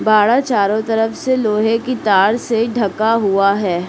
बाड़ा चारो तरफ से लोहे की तार से ढका हुआ है।